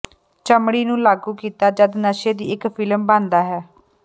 ਚਮੜੀ ਨੂੰ ਲਾਗੂ ਕੀਤਾ ਜਦ ਨਸ਼ੇ ਦੀ ਇੱਕ ਫਿਲਮ ਬਣਦਾ ਹੈ